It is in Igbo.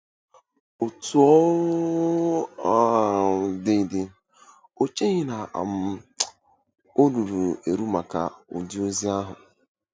Otú ọ um dị dị, o cheghị na um o ruru eru maka ụdị ozi ahụ.